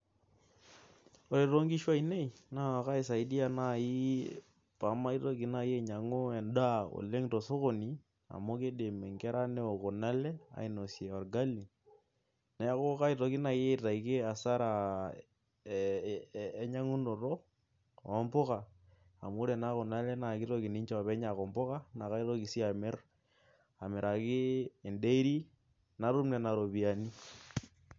Ore too nkishu ainei, naa kaisadiai naaji pee mitoki naaji ainyiangu edaa oleng tosokoni, amu kidim inkera neok Kuna le ainosie orgali. neeku kaitoki naaji aitaki asara enkinyiangunoto oo mpuka. amu ore naa Kuna kitoki ninche oopeny aaku mpuka, naa kaitoki sii aamiraki e dairy natum Nena ropiyiani.